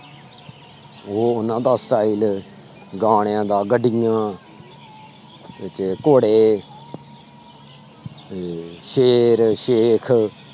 ਉਹ ਉਹਨਾਂ ਦਾ style ਗਾਣਿਆਂ ਦਾ, ਗੱਡੀਆਂ ਘੋੜੇ ਤੇ ਸ਼ੇਰ ਸੇਖ